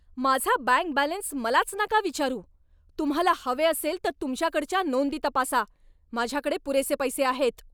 माझा bank balance मलाच नका विचारू. तुम्हाला हवे असेल तर तुमच्याकडच्या नोंदी तपासा. माझ्याकडे पुरेसे पैसे आहेत.